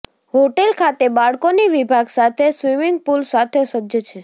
hotel ખાતે બાળકોની વિભાગ સાથે સ્વિમિંગ પૂલ સાથે સજ્જ છે